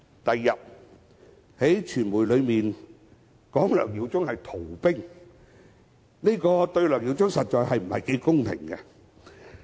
翌日，有傳媒報道指梁耀忠議員是逃兵，這對梁議員實在不太公平。